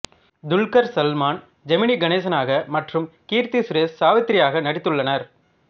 துல்கர் சல்மான் ஜெமினி கணேசனாக மற்றும் கீர்த்தி சுரேஷ் சாவித்திரியாக நடித்துள்ளனர்